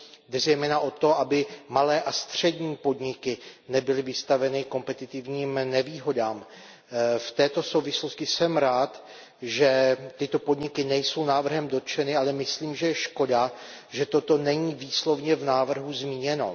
Jde zejména o to, aby malé a střední podniky nebyly vystaveny kompetitivním nevýhodám. V této souvislosti jsem rád, že tyto podniky nejsou návrhem dotčeny, ale myslím, že je škoda, že toto není výslovně v návrhu zmíněno.